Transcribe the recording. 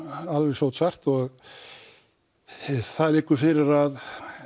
sótsvart það liggur fyrir að